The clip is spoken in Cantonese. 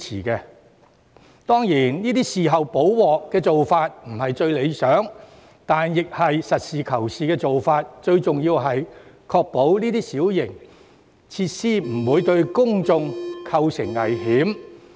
雖然"事後補鑊"的做法並非最理想，但實事求是，最重要是必須確保相關小型設施不會對公眾構成危險。